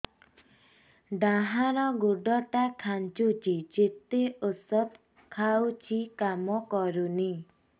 ଡାହାଣ ଗୁଡ଼ ଟା ଖାନ୍ଚୁଚି ଯେତେ ଉଷ୍ଧ ଖାଉଛି କାମ କରୁନି